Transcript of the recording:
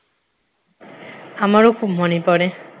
আমারো খুব মনে পড়ে